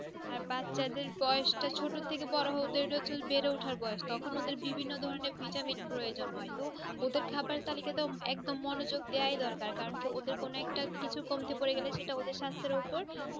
আর বাচ্চা দেড় বয়স টা ছোট থেকে বড়ো হয়ে জেলে বেড়ে উঠা যাই তখন ওদের বিভিন্ন ধরণের ভিটামিন এর প্রজন হয় ওদের খাবার তালিকাটাই এক দম মনোজোগ দেওয়া দরকার ওদের কোন একটা কিছু কমতি পরে গেলে সাস্থের উপর